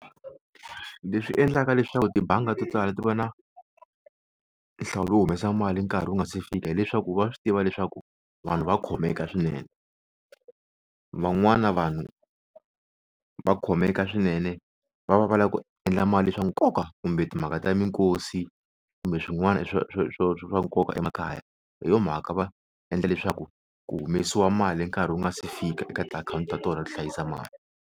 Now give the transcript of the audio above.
Leswi endlaka leswaku tibanga to tala ti va na nhlawulo wo humesa mali nkarhi wu nga si fika hileswaku va swi tiva leswaku vanhu va khomeka swinene van'wana vanhu va khomeka swinene va va va lava ku endla mali swa nkoka kumbe timhaka ta minkosi kumbe swin'wana swo swo swo swa va nkoka emakaya hi yo mhaka va endla leswaku ku humesiwe mali nkarhi wu nga si fika eka tiakhawunti ta tona to hlayisa mali.